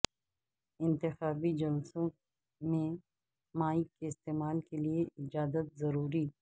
انتخابی جلسوں میں مائیک کے استعمال کیلئے اجازت ضروری